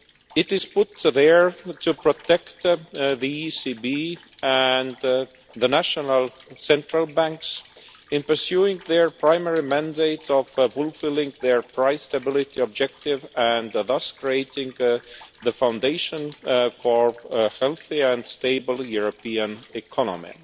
It is put there to protect the ECB and the national central banks in pursuing their primary mandate of fulfilling their price stability objective and thus creating the foundation for a healthy and stable European economy.